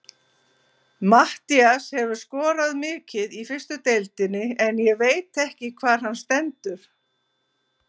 Matthías hefur skorað mikið í fyrstu deildinni en ég veit ekki hvar hann stendur.